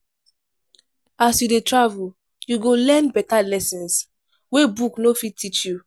As you dey travel, you go learn better lessons wey book no fit teach.